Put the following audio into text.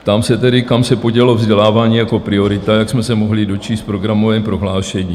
Ptám se tedy, kam se podělo vzdělávání jako priorita, jak jsme se mohli dočíst v programovém prohlášení?